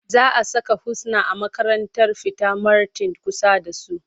Za a saka Husna a makarantar fita marten kusa da su.